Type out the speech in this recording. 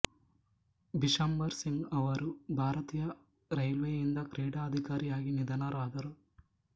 ಬಿಶಂಬರ್ ಸಿಂಗ್ ಅವರು ಭಾರತೀಯ ರೈಲ್ವೇಯಿಂದ ಕ್ರೀಡಾ ಅಧಿಕಾರಿಯಾಗಿ ನಿಧನರಾದರು